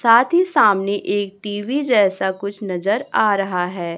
साथ ही सामने एक टी_वी जैसा कुछ नजर आ रहा है।